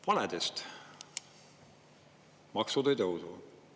Valedest, maksud ei tõuse.